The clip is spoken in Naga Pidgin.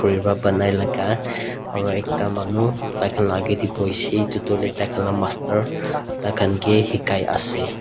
khuriwa banai laga aro ekta manu taikhan la agey tey buishi itutu taikhan la master taikhan ke hikai ase.